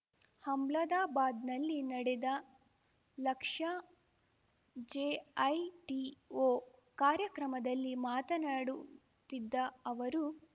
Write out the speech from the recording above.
ಹಮ್ಲದಾಬಾದ್‌ನಲ್ಲಿ ನಡೆದ ಲಕ್ಷ್ಯ ಜೆಐಟಿಒ ಕಾರ್ಯಕ್ರಮದಲ್ಲಿ ಮಾತನಾಡುತ್ತಿದ್ದ ಅವರು